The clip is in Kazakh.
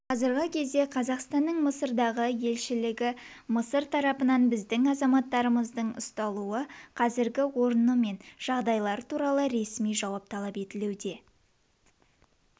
қазіргі кезде қазақстанның мысырдағы елшілігі мысыр тарапынан біздің азаматтарымызды ұсталуы қазіргі орны мен жағдайлары туралы ресми жауап талап етуде